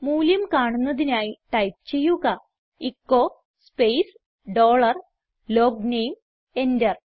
മൂല്യം കാണുന്നതിനായി ടൈപ്പ് ചെയ്യുക echo space dollar logname enter